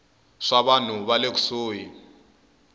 swa vanhu va le kusuhi